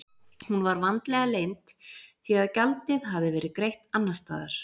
Hún var vandlega leynd því að gjaldið hafði verið greitt annars staðar.